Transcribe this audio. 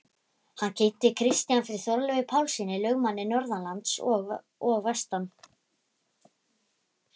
Hann kynnti Christian fyrir Þorleifi Pálssyni, lögmanni norðanlands og vestan.